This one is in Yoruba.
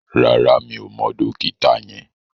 Rárá, mi ò mọ dókítà yẹn